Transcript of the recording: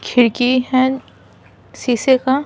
खिड़की है शीशे का।